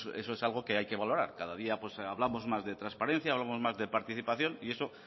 eso es algo que hay que valorar cada día hablamos más de transparencia hablamos más de participación y eso